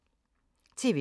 TV 2